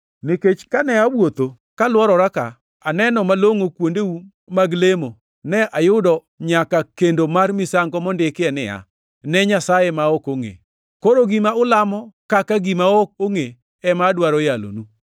Nikech kane awuotho kalworora ka anono malongʼo kuondeu mag lemo, to ne ayudo nyaka kendo mar misango mondikie niya, ‘Ne nyasaye ma ok ongʼe’. Koro gima ulamo kaka gima ok ongʼe ema adwaro yalonu.